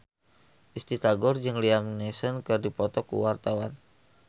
Risty Tagor jeung Liam Neeson keur dipoto ku wartawan